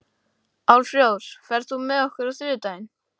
Álfrós, ferð þú með okkur á þriðjudaginn?